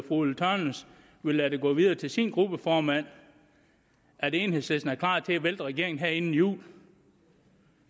ulla tørnæs vil lade det gå videre til sin gruppeformand at enhedslisten er klar til at vælte regeringen her inden jul